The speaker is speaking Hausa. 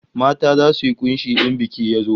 Mata zasu yi kunshi in biki ya zo